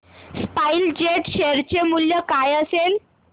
spice jet share चे मूल्य काय असेल